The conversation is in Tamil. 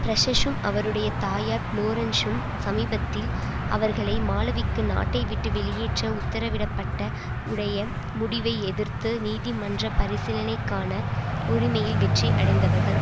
பிரஷஸும் அவருடைய தாயார் பிளோரன்ஸும் சமீபத்தில் அவர்களை மாலவிக்குக் நாட்டைவிட்டு வெளியேற்ற உத்தரவிடப்பட்ட உடைய முடிவை எதிர்த்து நீதிமன்ற பரிசீலனைக்கான உரிமையில் வெற்றி அடைந்தவர்கள்